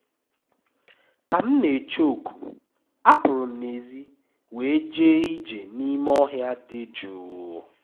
ka m na-eche oku apụrụ m n'èzí wee jee ije n'ime ọhịa dị jụụ